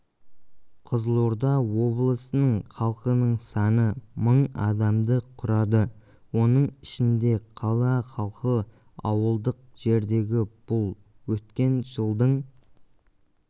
қызылорда облысы халқының саны мың адамды құрады оның ішінде қала халқы ауылдық жердегі бұл өткен жылдың